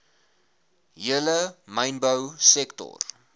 hele mynbou sektor